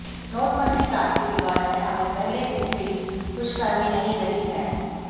नोटबंदी क्रांति के बारे में हमें पहले दिन से ही खुशफहमी नहीं रही है